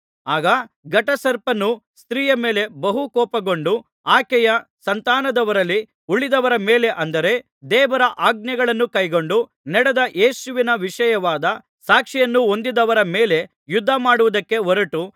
ಆಗ ಘಟಸರ್ಪನು ಸ್ತ್ರೀಯ ಮೇಲೆ ಬಹು ಕೋಪಗೊಂಡು ಆಕೆಯ ಸಂತಾನದವರಲ್ಲಿ ಉಳಿದವರ ಮೇಲೆ ಅಂದರೆ ದೇವರ ಆಜ್ಞೆಗಳನ್ನು ಕೈಗೊಂಡು ನಡೆದು ಯೇಸುವಿನ ವಿಷಯವಾದ ಸಾಕ್ಷಿಯನ್ನು ಹೊಂದಿದವರ ಮೇಲೆ ಯುದ್ಧಮಾಡುವುದಕ್ಕೆ ಹೊರಟು